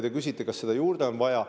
Te küsisite, kas seda on juurde vaja.